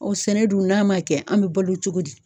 O sɛnɛ dun , n'a ma kɛ an bɛ balo cogo di ?